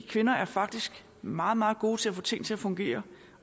kvinder er faktisk meget meget gode til at få ting til at fungere